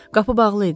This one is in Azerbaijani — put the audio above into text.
Qapı bağlı idi?